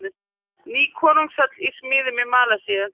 Ný konungshöll í smíðum í Malasíu